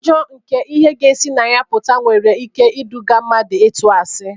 Ụjọ nke ihe ga-esi na ya pụta nwere ike iduga mmadụ ịtụ asị.